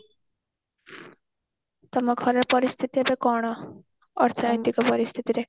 ତମ ଘର ପରିସ୍ଥିତି ଏବେ କଣ ଅର୍ଥନୈତିକ ପରିସ୍ଥିତି ରେ